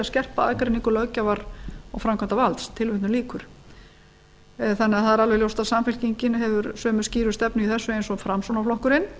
skerpa aðgreiningu löggjafar og framkvæmdarvalds þannig að það er alveg ljóst að samfylkingin hefur alveg sömu skýru stefnu í þessu og framsóknarflokkurinn